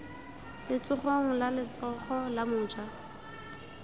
letsogong la letsogo la moja